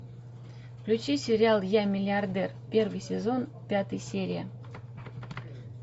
включи сериал я миллиардер первый сезон пятая серия